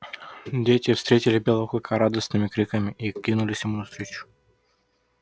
дети встретили белого клыка радостными криками и кинулись ему навстречу